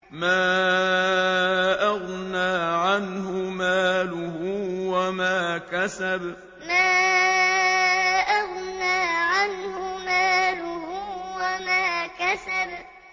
مَا أَغْنَىٰ عَنْهُ مَالُهُ وَمَا كَسَبَ مَا أَغْنَىٰ عَنْهُ مَالُهُ وَمَا كَسَبَ